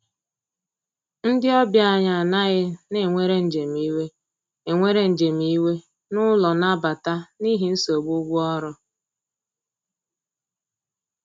Ndi ọbịa anyi anaghi na enwere njem iwe enwere njem iwe n'ụlọ nabata n'ihi nsogbụ ụgwọ ọrụ